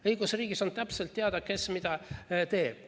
Õigusriigis on täpselt teada, kes mida teeb.